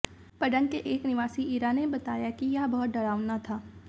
पडंग के एक निवासी इरा ने बताया कि यह बहुत डरावना था